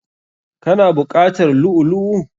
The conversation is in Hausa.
Ka na buƙatar lu'u lu'u?